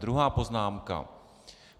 Druhá poznámka.